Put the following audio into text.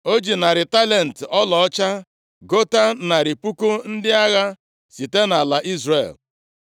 O ji narị talenti ọlaọcha gota narị puku ndị agha site nʼala Izrel.